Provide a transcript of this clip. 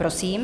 Prosím.